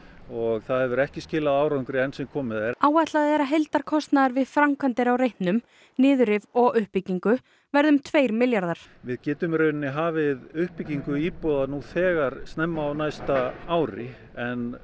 og það hefur ekki skilað árangri enn sem komið er áætlað er að heildarkostnaður við framkvæmdir á reitnum niðurrif og uppbyggingu verði um tveir milljarðar við getum í raun hafið uppbyggingu íbúða nú þegar snemma á næsta ári en